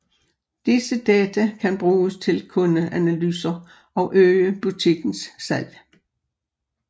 Disse data kan bruges til kundeanalyser og øge butikkens salg